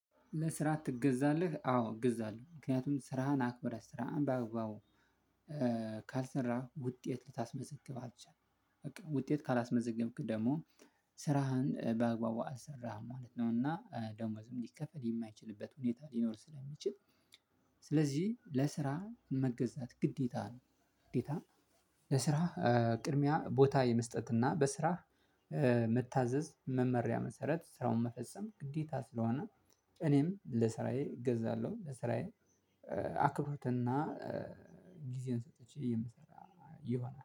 ለስራ ትገዛለህ አዎ እገዛለሁ ምክንያቱም ስራህን አክብረህ ስራህን በአግባቡ ካልሰራህ ውጤት ልታስመዘግብ አትችልም በቃ ውጤት ካላስመዘገብክ ደግሞ ስራህን በአግባቡ አትሰራም ማለት ነው። እና ደሞወዝም ሊከፈል የማይችልበት ሁኔታ ሊኖር ስለሚችል። ስለዚህ ለስራ መገዛት ግዴታ ነው። ግዴታ ለስራ ቅድሚያ ቦታ የመስጠት እና በስራ በስራህ መታዘዝ መመሪያ መሰረት ስራውን መፈጸም ግዴታ ስለሆነ። እኔም ለስራዬ እገዛለሁ። ለስራዬ አክብሮትና ጊዜን ሰጥቼ የምሰራ ይሆናል